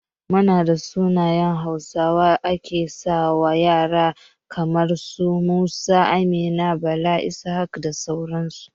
Munada sunayen hausawa ake sawa ƴara kaman su, Musa, Amina, Bala, Ishaq da sauran su